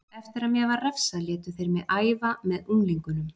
Eftir að mér var refsað létu þeir mig æfa með unglingunum.